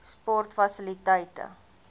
sportfasiliteite